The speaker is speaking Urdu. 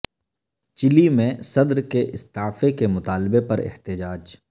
چلی میں صدر کے استعفی کے مطالبہ پر احتجاج